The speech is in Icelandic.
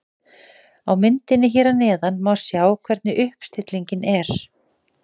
Á myndinni hér að neðan má sjá hvernig uppstillingin er.